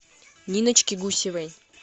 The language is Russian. ниночке гусевой